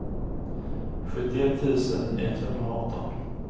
sjuttioett tusen etthundraarton